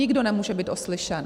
Nikdo nemůže být oslyšen.